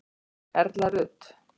Erla Rut.